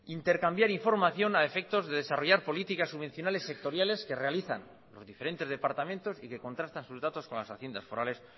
intercambiar información a efectos de desarrollar políticas subvencionales sectoriales que realizan los diferentes departamentos y que contrastan sus datos con las haciendas forales